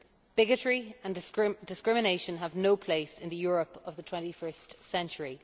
Bigotry and discrimination have no place in the Europe of the twenty first century.